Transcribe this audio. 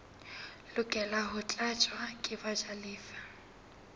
lokela ho tlatswa ke bajalefa